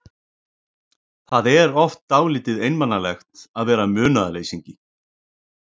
Það er oft dálítið einmanalegt að vera munaðarleysingi.